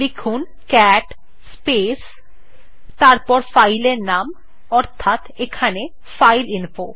লিখুন cat space তারপর file এর নাম অর্থাৎ এখানে ফাইলইনফো